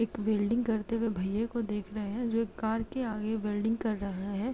एक वेल्डिंग करते हुए भईया को देख रहे है जो एक कार के आगे वेल्डिंग कर रहा है।